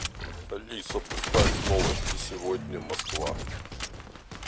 алиса поставь новости сегодня москва